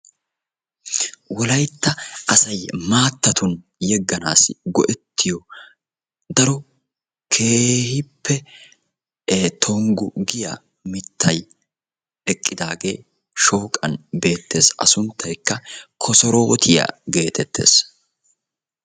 wolaytta assay maattani yeganaw go"ettiyo sawuaa tongu giyaa mittay assunttaykka kosorotiya yaagiyoge shoqani eqid beetesi.